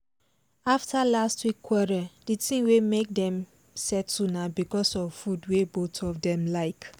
after last week quarrel the thing wey make dem settle na because of food wey both of dem like